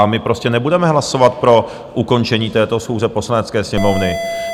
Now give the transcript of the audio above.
A my prostě nebudeme hlasovat pro ukončení této schůze Poslanecké sněmovny.